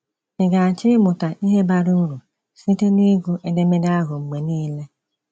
“Ị̀ ga-achọ ịmụta ihe bara uru site n’ịgụ edemede ahụ mgbe niile?”